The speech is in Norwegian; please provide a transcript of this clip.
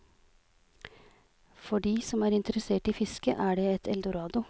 For de som er interessert i fiske er det et eldorado.